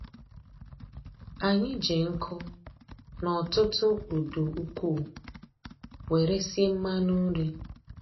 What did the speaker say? Anyị ji nkụ na ọtụtụ udu ukwuu were sie mmanụ nri.